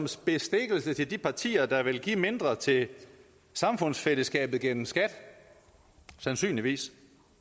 til bestikkelse til de partier der vil give mindre til samfundsfællesskabet gennem skatten sandsynligvis